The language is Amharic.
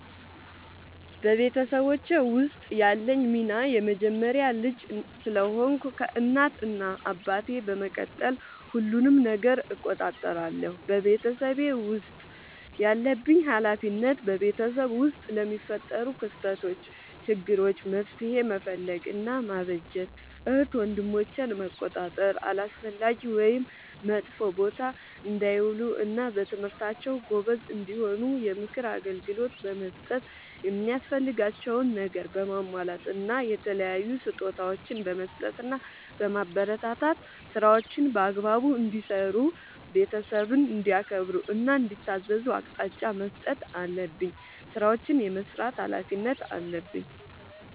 በቤተሰቦቼ ውስጥ ያለኝ ሚና የመጀመሪያ ልጅ ስለሆንኩ ከእናት እና አባቴ በመቀጠል ሁሉንም ነገር እቆጣጠራለሁ። በቤተሰቤ ውስጥ ያለብኝ ኃላፊነት በቤተሰብ ውስጥ ለሚፈጠሩ ክስተቶች ÷ችግሮች መፍትሄ መፈለግ እና ማበጀት ÷ እህት ወንድሞቼን መቆጣጠር አላስፈላጊ ወይም መጥፎ ቦታ እንዳይውሉ እና በትምህርታቸው ጎበዝ እንዲሆኑ የምክር አገልግሎት በመስጠት የሚያስፈልጋቸውን ነገር በማሟላት እና የተለያዩ ስጦታዎችን በመስጠትና በማበረታታት ÷ ስራዎችን በአግባቡ እንዲሰሩ ÷ ቤተሰብን እንዲያከብሩ እና እንዲታዘዙ አቅጣጫ መስጠት አለብኝ። ስራዎችን የመስራት ኃላፊነት አለብኝ።